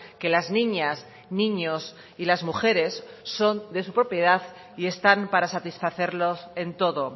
que las niñas niños y las mujeres son de su propiedad y están para satisfacerlos en todo